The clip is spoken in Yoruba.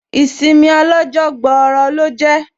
Ìsinmi ọ lọ́jọ́ gbọọrọ lọ jẹ́